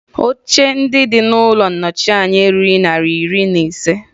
Oche dị n'Ụlọ ndị Nnọchianya erughi narị ise na iri